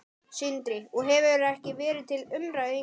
Sindri: Og hefur ekki verið til umræðu hingað til?